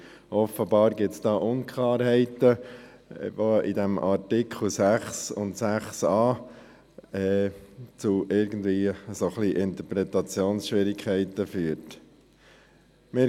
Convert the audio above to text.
Offenbar gibt es da Unklarheiten, die in den Artikeln 6 und 6a des Gesetzes betreffend die Handänderungssteuer (HG) zu Schwierigkeiten bei der Interpretation führen.